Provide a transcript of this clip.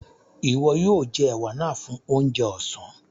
Iwọ̀ yoo jẹ̀ è̩wà náà fún ọ̀njẹ̀ ọ̀sán.